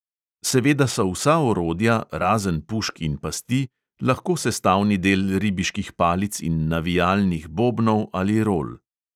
Seveda so vsa orodja, razen pušk in pasti, lahko sestavni del ribiških palic in navijalnih bobnov ali rol.